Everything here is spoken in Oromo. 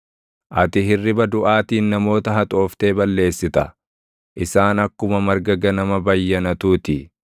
Ati hirriba duʼaatiin namoota haxooftee balleessita; isaan akkuma marga ganama bayyanatuu ti;